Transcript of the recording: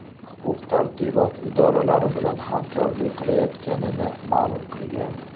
Huquq-tartibot idoralari bilan hamkorlik qilayotganini ma’lum qilgan.